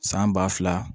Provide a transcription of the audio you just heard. San ba fila